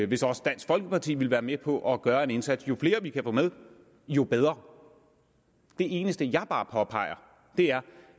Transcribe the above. hvis også dansk folkeparti ville være med på at gøre en indsats jo flere vi kan få med jo bedre det eneste jeg bare påpeger er